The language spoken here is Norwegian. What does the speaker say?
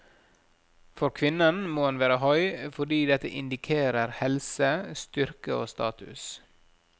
For kvinnen må han være høy, fordi dette indikerer helse, styrke og status.